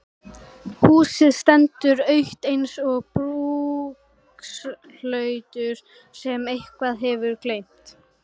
Húsið stendur autt eins og brúkshlutur sem einhver hefur gleymt.